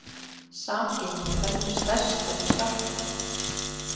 Samgengi veldur stærstum skjálftum.